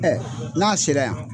n'a sera yan.